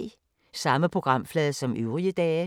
Samme programflade som øvrige dage